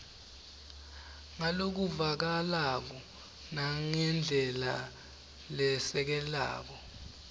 ngalokuvakalako nangendlela leshelelako